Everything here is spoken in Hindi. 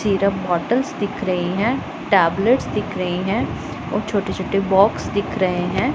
सिरप बॉटल्स दिख रहीं हैं टैबलेटस दिख रहें हैं और छोटे-छोटे बॉक्स दिख रहें हैं।